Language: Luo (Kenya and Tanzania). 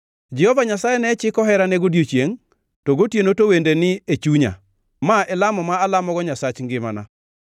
Jehova Nyasaye chiko herane godiechiengʼ, to gotieno to wende ni e chunya; ma e lamo ma alamogo Nyasach ngimana.